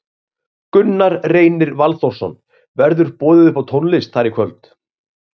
Gunnar Reynir Valþórsson: Verður boðið upp á tónlist þar í kvöld?